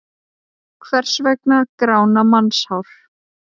Hvers vegna grána mannshár?